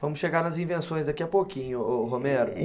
Vamos chegar nas invenções daqui a pouquinho, o Romero.